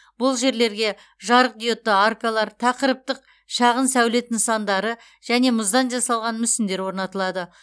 бұл жерлерге жарықдиодты аркалар тақырыптық шағын сәулет нысандары және мұздан жасалған мүсіндер орнатылады